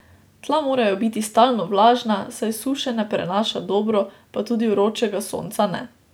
Tla morajo biti stalno vlažna, saj suše ne prenaša dobro, pa tudi vročega sonca ne.